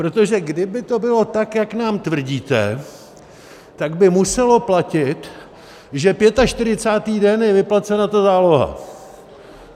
Protože kdyby to bylo tak, jak nám tvrdíte, tak by muselo platit, že 45. den je vyplacena ta záloha.